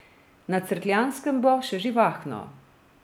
Na Cerkljanskem bo še živahno.